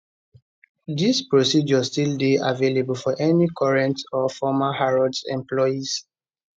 dis process still dey available for any current or former harrods employees